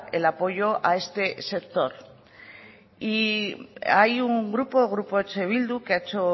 el apoyo a este sector y hay un grupo grupo eh bildu que ha hecho